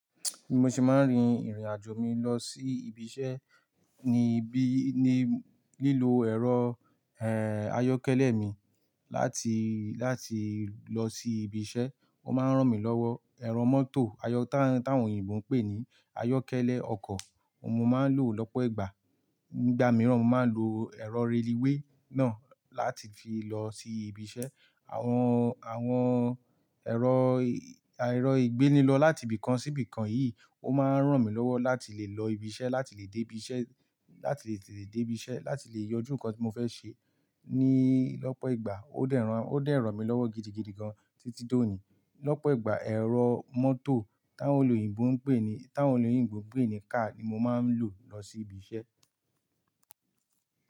Mo sì máa ń rin ìrìn àjò mi lọ sí ibi iṣẹ́ ní bí-- ní lílo ẹ̀rọ, eh, ayọ́kẹ́lẹ́ mi láti, láti lọ sí ibi iṣẹ́. Ó máa ń rán mi lọ́wọ́. Ẹ̀rọ mọ́tò ayọ-- táwọn òyìnbó ń pè ní ayọ́kẹ́lẹ́ ọkọ̀, ohun mo máa ń lò lọ́pọ̀ ìgbà. Nígbà mìíràn, mo máa ń lo ẹ̀rọ raliwe náà láti fi lọ sí ibi iṣẹ́. Àwọn, àwọn ẹ̀rọ, erọ̀ ìgbéni lọ láti ibìkan sí ibìkan yìí, ó máa ń rán mi lọ́wọ́ láti lè lọ ibi iṣẹ́, láti lè dé ibi iṣẹ́, láti lè tete dé ibi iṣẹ́, láti lè yanjú nǹkan tí mo fẹ́ ṣe níí ọ́pọ̀ ìgbà. Ó dẹ̀ rán, ó dẹ́ ràn mí lọ́wọ́ gidigidi gan títí dòní. Lọ́pọ̀ ìgbà, ẹ̀rọ mọ́tò táwọn olùyìnbó ń pè ní, táwọn olùyìnbó ń pè ní car ni mo máa ń lò lọ sí ibi iṣẹ́